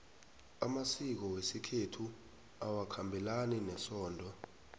amasiko wesikhethu awakhabelani nesondo